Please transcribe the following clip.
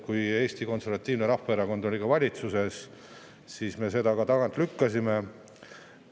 Kui Eesti Konservatiivne Rahvaerakond oli valitsuses, siis me seda ka tagant lükkasime.